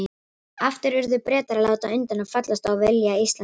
Aftur urðu Bretar að láta undan og fallast á vilja Íslendinga.